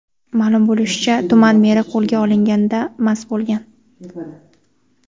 Ma’lum bo‘lishicha, tuman meri qo‘lga olinganida mast bo‘lgan.